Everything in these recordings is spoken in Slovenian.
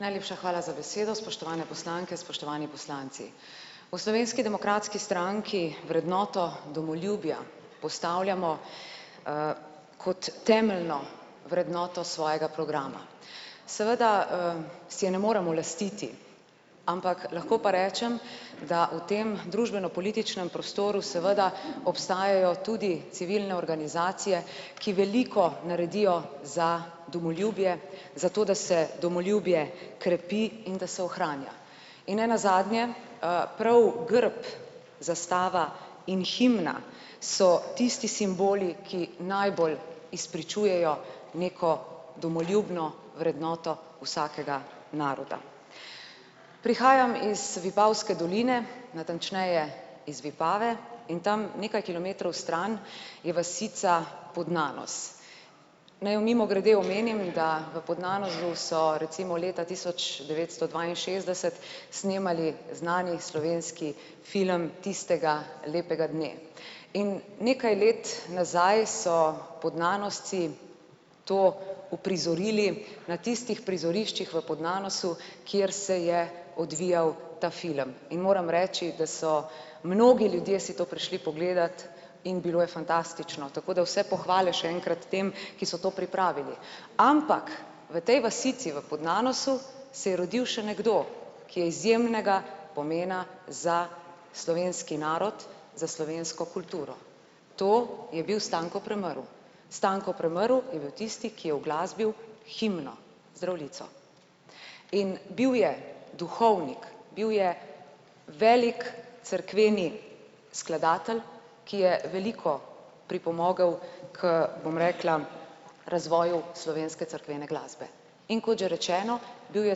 Najlepša hvala za besedo, spoštovane poslanke, spoštovani poslanci! V Slovenski demokratski stranki vrednoto domoljubja postavljamo, kot temeljno vrednoto svojega programa. Seveda, si je ne moremo lastiti, ampak lahko pa rečem, da v tem družbeno-političnem prostoru seveda obstajajo tudi civilne organizacije, ki veliko naredijo za domoljubje zato, da se domoljubje krepi in da se ohranja. In nenazadnje, prav grb, zastava in himna so tisti simboli ki najbolj izpričujejo neko domoljubno vrednoto vsakega naroda. Prihajam iz Vipavske doline, natančneje iz Vipave, in tam nekaj kilometrov stran je vasica Podnanos. Naj mimogrede omenim, da v Podnanosu so recimo leta tisoč devetsto dvainšestdeset snemali znani slovenski film Tistega lepega dne. In nekaj let nazaj so Podnanosci to uprizorili na tistih prizoriščih v Podnanosu, kjer se je odvijal ta film. In moram reči, da so mnogi ljudje si to prišli pogledat, in bilo je fantastično, tako da vse pohvale še enkrat tem, ki so to pripravili. Ampak v tej vasici v Podnanosu se je rodiv še nekdo, ki je izjemnega pomena za slovenski narod, za slovensko kulturo. To je bil Stanko Premrl. Stanko Premrl je bil tisti, ki je uglasbil himno Zdravljico. In bil je duhovnik, bil je velik cerkveni skladatelj, ki je veliko pripomogel, k, bom rekla, razvoju slovenske cerkvene glasbe. In kot že rečeno, bil je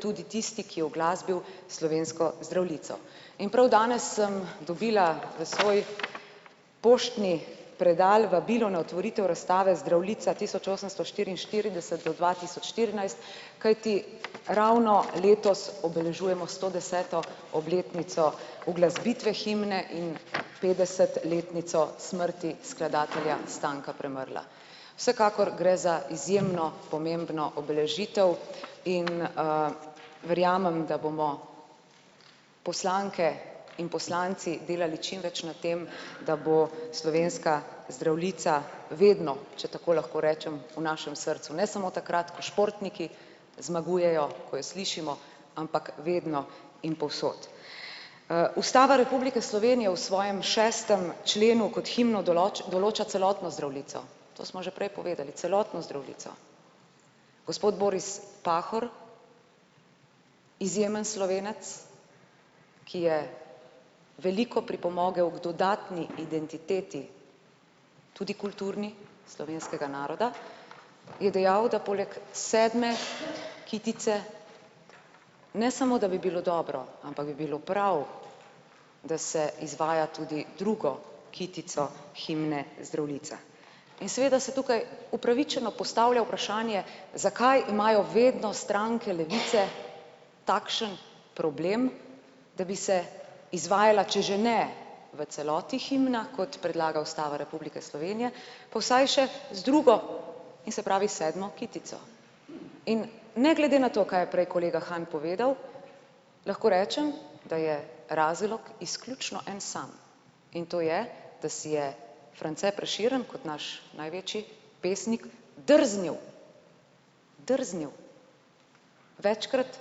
tudi tisti, ki je uglasbil slovensko Zdravljico. In prav danes sem dobila v svoj poštni predal vabilo na otvoritev razstave Zdravljica tisoč osemsto štiriinštirideset do dva tisoč štirinajst, kajti ravno letos obeležujemo stodeseto obletnico uglasbitve himne in petdesetletnico smrti skladatelja Stanka Premrla. Vsekakor gre za izjemno pomembno obeležitev in, verjamem, da bomo poslanke in poslanci delali čimveč na tem, da bo slovenska Zdravljica vedno, če tako lahko rečem, v našem srcu. Ne samo takrat, ko športniki zmagujejo, ko jo slišimo, ampak vedno in povsod. Ustava Republike Slovenije v svojem šestem členu kot himno določa celotno Zdravljico. To smo že prej povedali, celotno Zdravljico. Gospod Boris Pahor, izjemen Slovenec, ki je veliko pripomogel k dodatni identiteti, tudi kulturni, slovenskega naroda, je dejal, da poleg sedme kitice, ne samo da bi bilo dobro, ampak bi bilo prav, da se izvaja tudi drugo kitico himne Zdravljica. In seveda se tukaj upravičeno postavlja vprašanje, zakaj imajo vedno stranke levice takšen problem, da bi se izvajala, če že ne v celoti himna, kot predlaga Ustava Republike Slovenije, po saj še z drugo in se pravi sedmo kitico. In ne glede na to, kaj je prej kolega Han povedal, lahko rečem, da je razlog izključno en sam. In to je, da si je France Prešeren kot naš največji pesnik drznil, drznil večkrat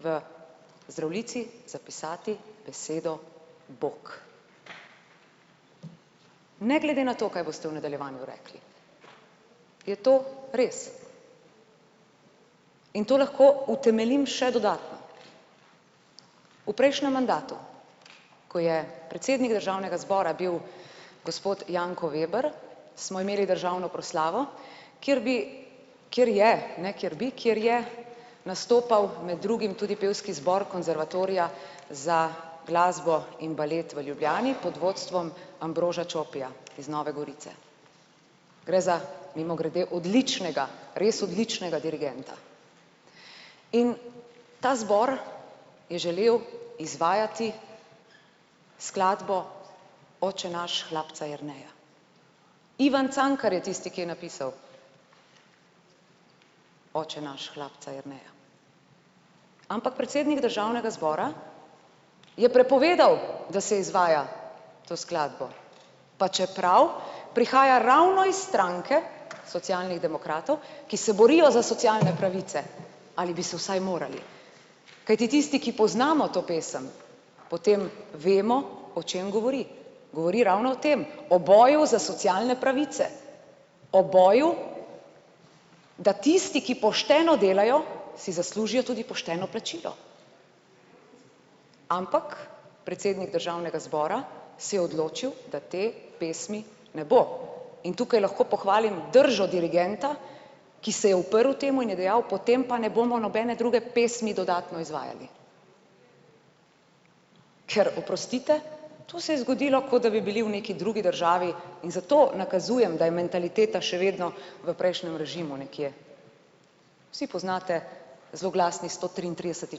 v Zdravljici zapisati besedo bog. Ne glede na to, kaj boste v nadaljevanju rekli, je to res. In to lahko utemeljim še dodatno. V prejšnjem mandatu, ko je predsednik državnega zbora bil gospod Janko Veber, smo imeli državno proslavo, kjer bi, kjer je, ne kjer bi, kjer je nastopal med drugim tudi pevski zbor konservatorija za glasbo in balet v Ljubljani pod vodstvom Ambroža Čopija iz Nove Gorice. Gre za mimogrede odličnega, res odličnega dirigenta. In ta zbor je želel izvajati skladbo Oče naš hlapca Jerneja. Ivan Cankar je tisti, ki je napisal Oče naš hlapca Jerneja. Ampak predsednik državnega zbora je prepovedal, da se izvaja to skladbo. Pa čeprav prihaja ravno iz stranke Socialnih demokratov, ki se borijo za socialne pravice. Ali bi se vsaj morali. Kajti tisti, ki poznamo to pesem, potem vemo, o čem govori. Govori ravno o tem, o boju za socialne pravice. O boju, da tisti, ki pošteno delajo si zaslužijo tudi pošteno plačilo. Ampak predsednik državnega zbora se je odločil, da te pesmi ne bo. In tukaj lahko pohvalim držo dirigenta, ki se je uprl temu in je dejal potem pa ne bomo nobene druge pesmi dodatno izvajali. Ker oprostite, to se je zgodilo, ko da bi bili v neki drugi državi, in zato nakazujem, da je mentaliteta še vedno v prejšnjem režimu nekje. Vsi poznate zloglasni sto triintrideseti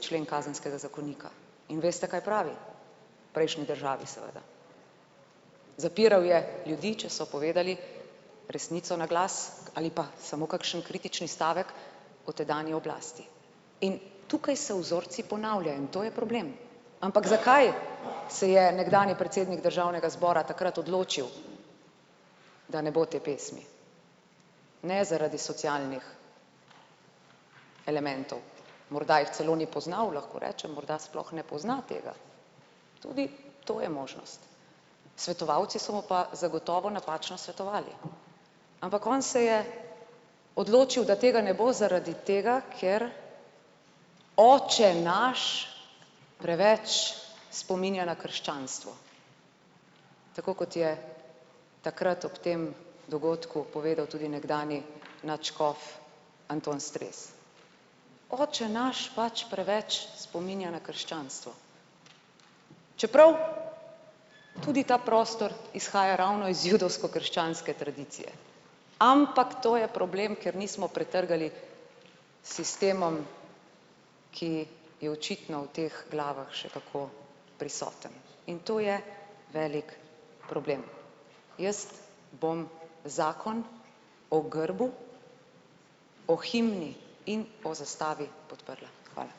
člen kazenskega zakonika. In veste, kaj pravi, prejšnji državi seveda. Zapiral je ljudi, če so povedali resnico na glas ali pa samo kakšen kritični stavek o tedanji oblasti. In tukaj se vzorci ponavljajo, in to je problem, ampak zakaj se je nekdanji predsednik državnega zbora takrat odločil, da ne bo te pesmi? Ne zaradi socialnih elementov, morda jih celo ni poznal, lahko rečem morda sploh ne pozna tega. Tudi to je možnost. Svetovalci so mu pa zagotovo napačno svetovali. Ampak on se je odločil, da tega ne bo zaradi tega, ker oče naš preveč spominja na krščanstvo. Tako kot je takrat ob tem dogodku povedal tudi nekdanji nadškof Anton Stres. Oče naš pač preveč spominja na krščanstvo. Čeprav tudi ta prostor izhaja ravno iz judovsko-krščanske tradicije. Ampak to je problem, ker nismo pretrgali sistemom, ki je očitno v teh glavah še kako prisoten. In to je velik problem. Jaz bom zakon o grbu, o himni in o zastavi podprla. Hvala.